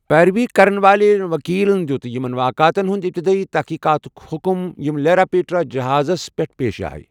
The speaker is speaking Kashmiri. پیروی كرن وٲلہِ ؤکیٖلَن دِیُوت یِمَن واقعاتَن ہنٛد ابتدٲیی تٔحقیٖقاتُک حُکُم یِم لیراپیٹرا جہازَس پٮ۪ٹھ پیش آیہ۔